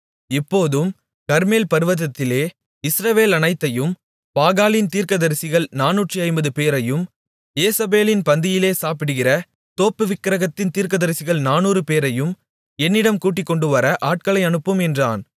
இப்போதும் கர்மேல் பர்வதத்திலே இஸ்ரவேலனைத்தையும் பாகாலின் தீர்க்கதரிசிகள் 450 பேரையும் யேசபேலின் பந்தியிலே சாப்பிடுகிற தோப்புவிக்கிரகத்தின் தீர்க்கதரிசிகள் 400 பேரையும் என்னிடம் கூட்டிக்கொண்டுவர ஆட்களை அனுப்பும் என்றான்